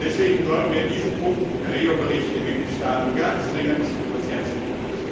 Deswegen sollten wir diesen Punkt im Bericht Perello den Mitgliedstaaten ganz dringend ans Herz legen.